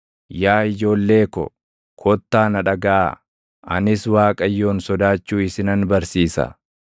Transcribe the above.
Yaa ijoollee ko, kottaa na dhagaʼaa; anis Waaqayyoon sodaachuu isinan barsiisa.